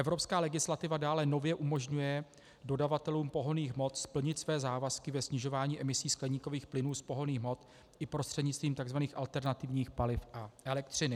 Evropská legislativa dále nově umožňuje dodavatelům pohonných hmot splnit své závazky ve snižování emisí skleníkových plynů z pohonných hmot i prostřednictvím tzv. alternativních paliv a elektřiny.